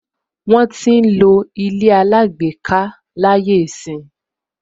Wọn ń lo àyè àlejò láyé ìsín.